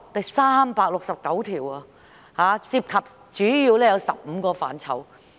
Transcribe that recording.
有369項，主要涉及15個範疇。